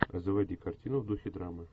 заводи картину в духе драмы